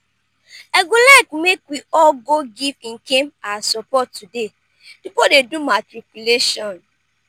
i go like make we all go give ikem our support today the boy dey do matriculation